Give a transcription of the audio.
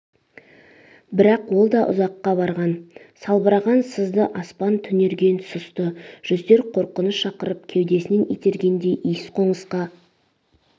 брақ ол да ұзаққа барған салбыраған сызды аспан түнерген сұсты жүздер қорқыныш шақырып кеудеснен итергендей иіс-қоңысқа